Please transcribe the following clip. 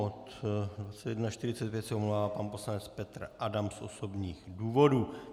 Od 21.45 se omlouvá pan poslanec Petr Adam z osobních důvodů.